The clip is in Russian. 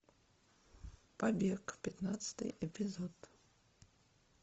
побег пятнадцатый эпизод